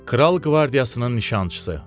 Kral qvardiyasının nişançısı.